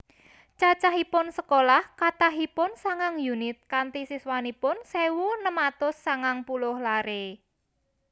Cacahipun sekolah kathahipun sangang unit kanti siswanipun sewu enem atus sangang puluh lare